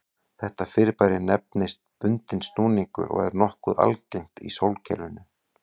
Þetta fyrirbæri nefnist bundinn snúningur og er nokkuð algengt í sólkerfinu.